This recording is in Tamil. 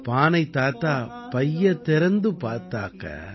பானைத் தாத்தா பையைத் திறந்து பார்த்தாக்க